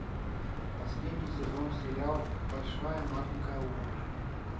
последний сезон сериал большая маленькая ложь